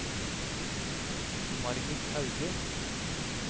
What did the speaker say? Margit Hauge